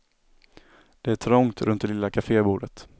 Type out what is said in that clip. Det är trångt runt det lilla cafébordet.